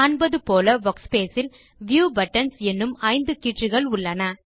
காண்பது போல வர்க்ஸ்பேஸ் இல் வியூ பட்டன்ஸ் எனும் 5 கீற்றுகள் உள்ளன